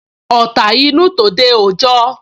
Ọ̀ta inú, tòde òjọ